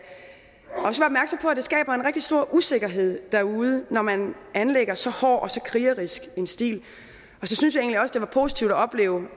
det skaber en rigtig stor usikkerhed derude når man anlægger så hård og så krigerisk en stil og så synes jeg egentlig også det var positivt at opleve